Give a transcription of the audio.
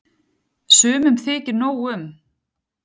Sumum þykir nóg um.